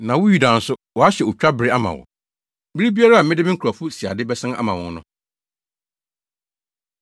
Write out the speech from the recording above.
“Na wo Yuda nso, wɔahyɛ otwa bere ama wo. “Bere biara a mede me nkurɔfo siade bɛsan ama wɔn no,